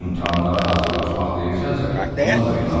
İmtahanlara hazırlaşmaq deyirsənsə, ona da inanmıram.